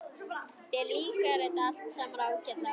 Þér líkar þetta allt saman ágætlega.